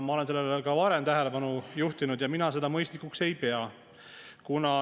Ma olen sellele ka varem tähelepanu juhtinud, et mina seda mõistlikuks ei pea.